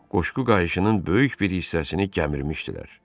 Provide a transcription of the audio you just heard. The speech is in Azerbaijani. Qoşqu qayışının böyük bir hissəsini gəmirmişdilər.